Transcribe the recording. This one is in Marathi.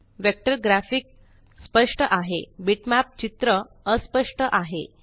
वेक्टर ग्राफिक स्पष्ट आहे बिटमॅप चित्र अस्पष्ट आहे